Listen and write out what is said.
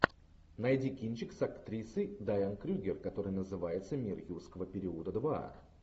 найди кинчик с актрисой дайан крюгер который называется мир юрского периода два